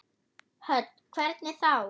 Hödd: Hvernig þá?